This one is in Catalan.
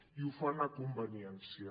i ho fan a conveniència